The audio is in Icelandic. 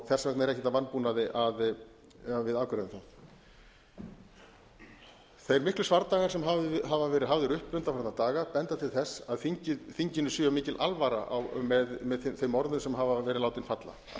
þess vegna er ekkert að vanbúnaði að við afgreiðum það þeir miklu svardagar sem hafa verði hafðir uppi undanfarna daga benda til þess að þinginu sé mikil alvara með þeim orðum sem hafa verið látin falla þess